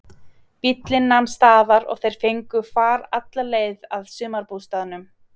Bíllinn nam staðar og þeir fengu far alla leið að sumarbústaðnum.